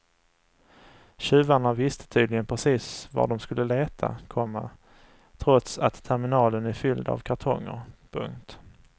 Tjuvarna visste tydligen precis var de skulle leta, komma trots att terminalen är fylld av kartonger. punkt